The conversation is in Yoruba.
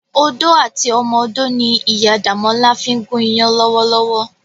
Odó àti ọmọ odó ni Iyá Damola fin gún iyàn lòwòlòwò.